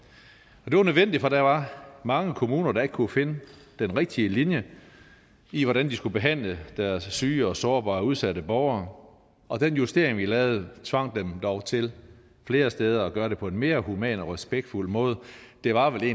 og det var nødvendigt for der var mange kommuner der ikke kunne finde den rigtige linje i hvordan de skulle behandle deres syge sårbare og udsatte borgere og den justering vi lavede tvang dem dog til flere steder at gøre det på en mere human og respektfuld måde det var vel